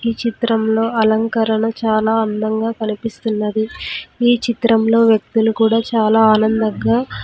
ఈ చిత్రంలో అలంకరణ చాలా అందంగా కనిపిస్తున్నది ఈ చిత్రంలో వ్యక్తిలు కూడా చాలా ఆనందంగా--